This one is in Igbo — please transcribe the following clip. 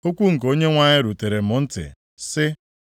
Okwu nke Onyenwe anyị rutere m ntị, sị,